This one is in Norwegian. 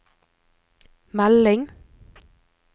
melding